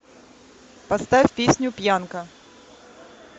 поставь песню пьянка